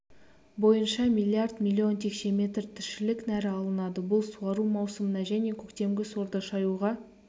бойынша миллиард миллион текше метр тіршілік нәрі алынады бұл суару маусымына және көктемгі сорды шаюға